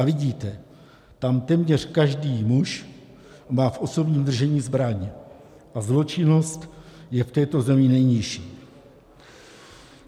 A vidíte, tam téměř každý muž má v osobním držení zbraň a zločinnost je v této zemi nejnižší.